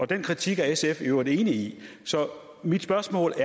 den kritik er sf i øvrigt enig i mit spørgsmål